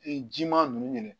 Ee jiman nunnu